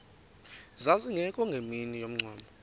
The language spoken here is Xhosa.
zazingekho ngemini yomngcwabo